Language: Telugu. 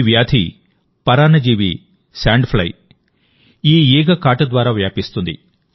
ఈ వ్యాధి పరాన్నజీవి శాండ్ ఫ్లైఈగ కాటు ద్వారా వ్యాపిస్తుంది